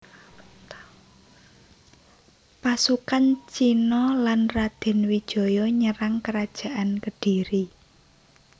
Pasukan Cina lan Radén Wijaya nyerang Kerajaan Kediri